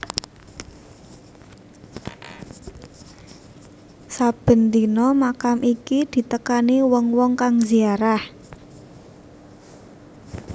Saben dina makam iki ditekani wong wong kang ziarah